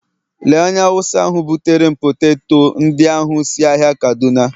Lee onye Awụsa butere m poteto ndị ahụ si ahịa kaduna